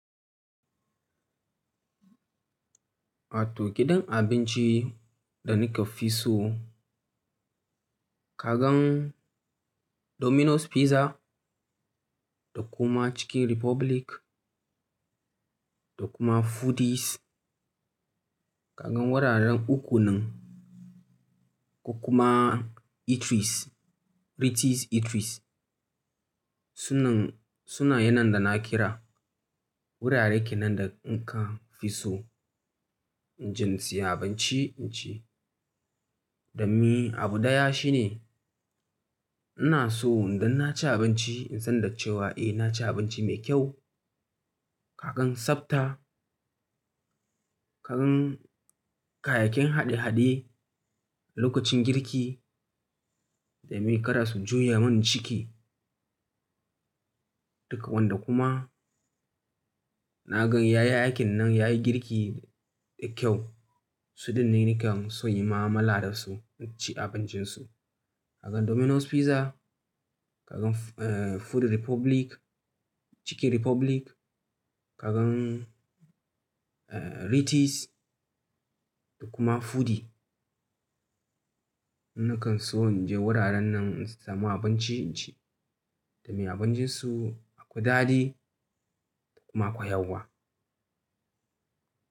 Wato gidan abinci da ni ka fi so kagan Domino's Pizza da kuma Chicken Republic, da kuma Foodies. Kaga wuraren uku nan, ko kuma Eatries, Ritzy Eatries suna yanar da na kira wurare kenan da in ka fi so, inje in siya abinci inci. Dammi abu daya shine, ina so idan naci abinci in san da cewa eh naci abinci mai kyau. Ka gantsabta, ka gan n kayayyakin haɗe-haɗe lokacin girki, da mai karas juya man ciki. Duka wanda kuma na gan yayi aikin nan yayi girki da kyau. Su dinnan ne nakan so in yi mamala da su, inci abincin su. Kagan Domino's Pizza, kagan Food Republic, Chicken Republic, ka gaRitzy da kuma Foodie. Ni nakan so in je wuraren nan in samu abinci inci domn iabincin su, da daɗi kuma akwai yawa.